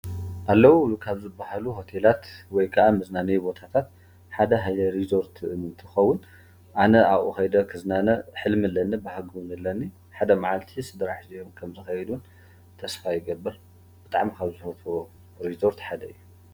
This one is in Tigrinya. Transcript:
ኣለዉ ካብ ዝባሃሉ ሆቴላት ወይ ከዓ መዝናነይ ቦታታት ሓደ ሃይለሪዞርት እንትኸውን ኣነ ኣቡኡ ከይደ ክዝናነ ሕልሚ ኣለኒ ።ሓደ መዓልቲ ስድራ ሒዘዮም ከምዝክከይድ እውን ተስፋ ይገብር። ብጣዕሚ ካብ ዝፈትዎ ሪዞርት ሓደ እዩ።